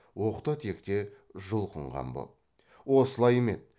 оқта текте жұлқынған боп осылай ма еді